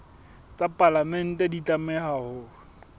tsa palamente di tlameha ho